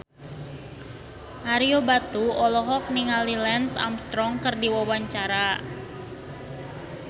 Ario Batu olohok ningali Lance Armstrong keur diwawancara